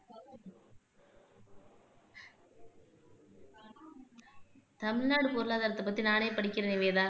தமிழ்நாடு பொருளாதாரத்தை பத்தி நானே படிக்கிறேன் நிவேதா